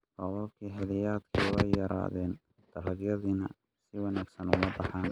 Roobabkii xilliyeedkii waa ay yaraadeen, dalagyadiina si wanaagsan uma baxaan.